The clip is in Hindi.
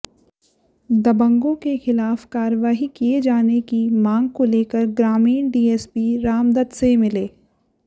दबंगों के खिलाफ कार्रवाई किये जाने की मांग को लेकर ग्रामीण डीएसपी रामदत से मिले